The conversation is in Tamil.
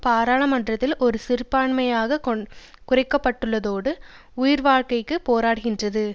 பாராளுமன்றத்தில் ஒரு சிறுபான்மையாகக் குறைக்கப்பட்டுள்ளதோடு உயிர்வாழ்க்கைக்கு போராடுகின்றது